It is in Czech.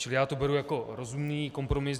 Čili já to beru jako rozumný kompromis.